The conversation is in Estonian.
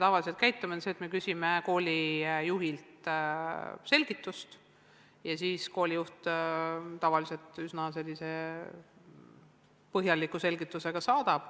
Tavaliselt me käitume nii, et küsime koolijuhilt selgitust ja enamasti saadab koolijuht siis üsna põhjaliku selgituse.